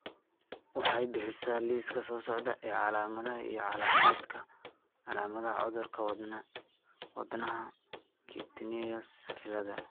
waxay bixisaa liiska soo socda ee calaamadaha iyo calaamadaha cudurka Wadnahacutaneous cilada.